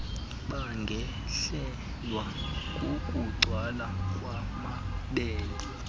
bangehlelwa kukugcwala kwamabele